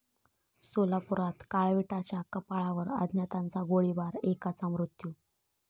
सोलापुरात काळविटाच्या कळपावर अज्ञातांचा गोळीबार, एकाचा मृत्यू